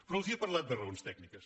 però els he parlat de raons tècniques